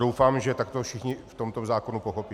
Doufám, že tak to všichni v tomto zákonu pochopí.